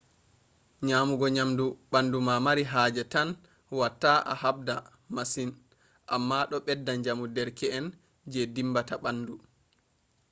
nyamugo nyamdu bandu ma mari haje tan watta a habda masin amma do bedda jamu derke’en je dimbata bandu